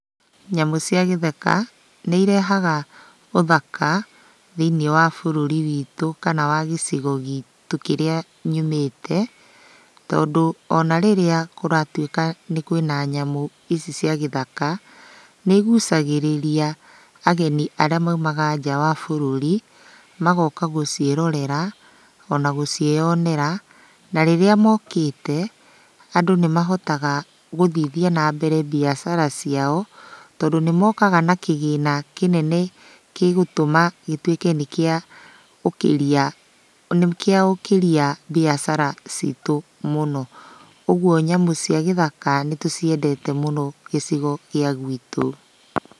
Nyamũ cia gĩthaka, nĩirehaga ũthaka thĩiniĩ wa bũrũri witũ kana wa gĩcigo gitũ kĩrĩa nyumĩte, tondũ ona rĩrĩa kũratuĩka kwĩna nyamũ ici cia gĩthaka, nĩigucagĩrĩria ageni arĩa maumaga nja wa bũrũri magoka gũciĩrorera, ona gũciĩyonera, na rĩrĩa mokĩte, andũ nĩmahota gũthithia nambere mbiacara ciao, tondũ nĩmokaga na kĩgĩna kĩnene kĩgũtuma gĩtuĩke nĩkĩaũkĩria nĩkĩaũkĩria mbiacara citũ mũno. Ũguo nyamũ cia gĩthaka nĩtũciendete mũno gĩcigo gĩa gwitũ.